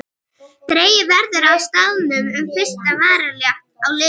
Dregið verður á staðnum um fyrsta valrétt á liðum.